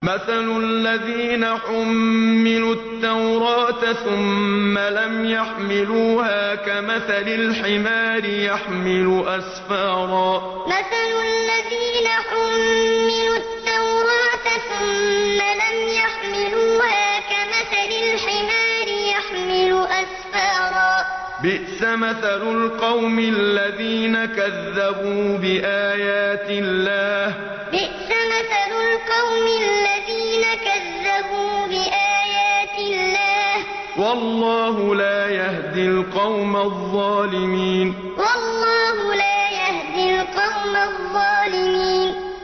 مَثَلُ الَّذِينَ حُمِّلُوا التَّوْرَاةَ ثُمَّ لَمْ يَحْمِلُوهَا كَمَثَلِ الْحِمَارِ يَحْمِلُ أَسْفَارًا ۚ بِئْسَ مَثَلُ الْقَوْمِ الَّذِينَ كَذَّبُوا بِآيَاتِ اللَّهِ ۚ وَاللَّهُ لَا يَهْدِي الْقَوْمَ الظَّالِمِينَ مَثَلُ الَّذِينَ حُمِّلُوا التَّوْرَاةَ ثُمَّ لَمْ يَحْمِلُوهَا كَمَثَلِ الْحِمَارِ يَحْمِلُ أَسْفَارًا ۚ بِئْسَ مَثَلُ الْقَوْمِ الَّذِينَ كَذَّبُوا بِآيَاتِ اللَّهِ ۚ وَاللَّهُ لَا يَهْدِي الْقَوْمَ الظَّالِمِينَ